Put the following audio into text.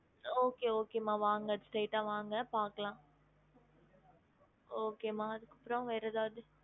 Okay okay மா வாங்க straight ஆ வாங்க பாக்கலாம் okay மா அதுக்கு அப்ரோ வேற ஏதாவது